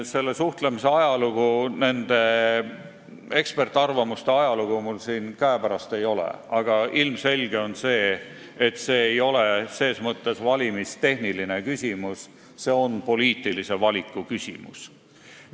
Selle suhtlemise ajalugu ega eksperdiarvamusi mul siin käepärast ei ole, aga ilmselge on see, et see ei ole ses mõttes valimistehniline küsimus, vaid on poliitilise valiku küsimus.